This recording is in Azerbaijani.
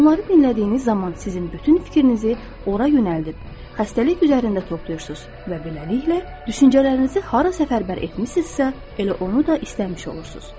Onları dinlədiyiniz zaman sizin bütün fikrinizi ora yönəldib, xəstəlik üzərində toplayırsınız və beləliklə, düşüncələrinizi hara səfərbər etmisinizsə, elə onu da istəmiş olursunuz.